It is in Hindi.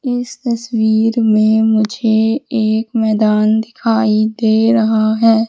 इस तस्वीर में मुझे एक मैदान दिखाई दे रहा है।